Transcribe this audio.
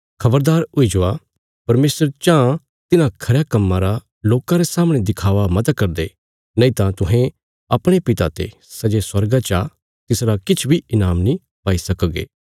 खबरदार हुई जवा परमेशर चाँह तिन्हां खरयां कम्मां रा लोकां रे सामणे दिखावा मता करदे नईतां तुहें अपणे पिता ते सै जे स्वर्गा चा तिसरा किछ बी ईनाम नीं पाई सकगे